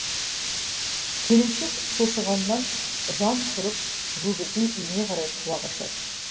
келіншек шошығаннан жан ұшырып өгізін үйіне қарай қуа қашады